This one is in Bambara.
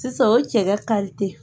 Sisan o ye cɛ kari ye